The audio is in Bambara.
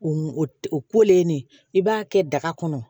O o ne b'a kɛ daga kɔnɔ